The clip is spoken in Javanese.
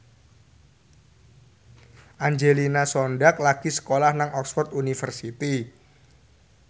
Angelina Sondakh lagi sekolah nang Oxford university